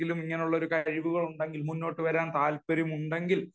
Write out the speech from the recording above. ഇതിലും ഇങ്ങനെ കഴിവുകൾ ഉണ്ടെങ്കിൽ മുന്നോട്ടു വരാൻ താല്പര്യമുണ്ടെങ്കിൽ